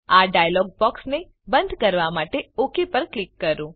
આ ડાયલોગ બોક્સને બંધ કરવા માટે ઓક પર ક્લિક કરો